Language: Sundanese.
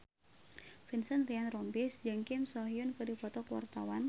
Vincent Ryan Rompies jeung Kim So Hyun keur dipoto ku wartawan